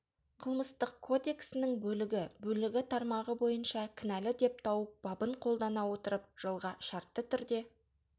қылмыстық кодексінің бөлігі бөлігі тармағы бойынша кінәлі деп тауып бабын қолдана отырып жылға шартты түрде